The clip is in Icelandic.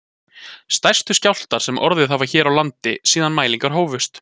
Stærstu skjálftar sem orðið hafa hér á landi síðan mælingar hófust